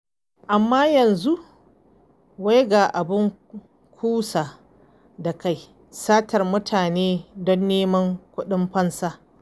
Amma yanzu wai ga abin kusa da kai; satar mutane don neman kuɗin fansa.